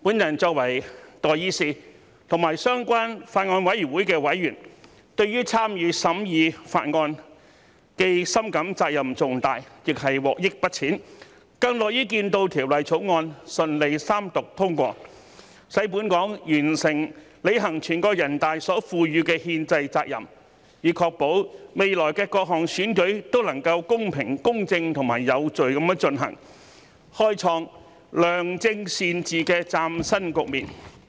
我作為代議士和相關法案委員會的委員，對於參與審議法案，既深感責任重大，亦獲益不淺，更樂於見到《條例草案》順利三讀通過，使本港完成履行全國人大所賦予的憲制責任，以確保未來的各項選舉都能夠公平、公正及有序地進行，開創良政善治的嶄新局面。